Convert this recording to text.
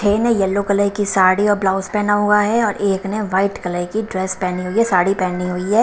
Plane yellow colour की साड़ी और blouse पहना हुआ है और एक ने व्हाइट कलर की ड्रेस पहनी हुई है साड़ी पहनी हुई हैं।